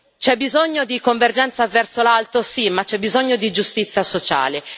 C'è bisogno di convergenza verso l'alto, sì, ma c'è bisogno di giustizia sociale.